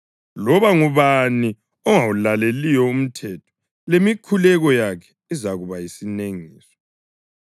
Loba ngubani ongawulaleliyo umthetho, lemikhuleko yakhe izakuba yisinengiso.